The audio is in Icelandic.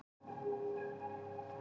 Níels, hvernig er dagskráin?